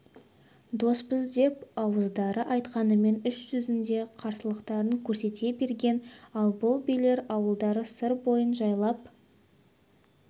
доспыз деп ауыздары айтқанмен іс жүзінде қастықтарын көрсете берген ал бұл билер ауылдары сыр бойын жайлап